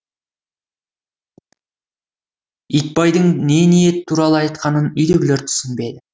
итбайдың не ниет туралы айтқанын үйдегілер түсінбеді